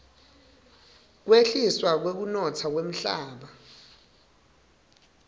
kwehliswa kwekunotsa kwemhlaba